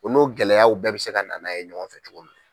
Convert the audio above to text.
O n'o gɛlɛyaw bɛɛ bɛ se ka na n'a ye ɲɔgɔn fɛ cogo min na.